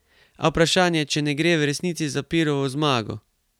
A vprašanje, če ne gre v resnici za Pirovo zmago.